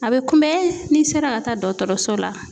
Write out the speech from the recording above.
A bɛ kunbɛn n'i sera ka taa dɔtɔrɔso la.